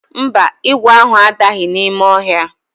Mba, ígwè ahụ adaghị n'ime ọhịa.